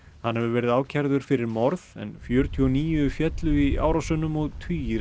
hann hefur verið ákærður fyrir morð en fjörutíu og níu féllu í árásunum og tugir